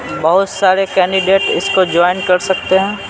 बहुत सारे कैंडिडेट इसको ज्वाइन कर सकते हैं।